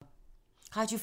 Radio 4